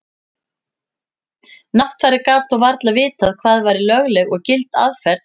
Náttfari gat þó varla vitað hvað væri lögleg eða gild aðferð.